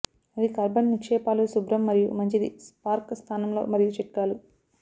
అది కార్బన్ నిక్షేపాలు శుభ్రం మరియు మంచిది స్పార్క్ స్థానంలో మరియు చిట్కాలు